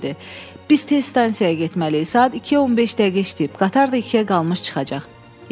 Biz tez stansiyaya getməliyik, saat 2-yə 15 dəqiqə işləyib, qatar da 2-yə qalmış çıxacaq.